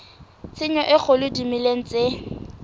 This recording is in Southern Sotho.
tshenyo e kgolo dimeleng tse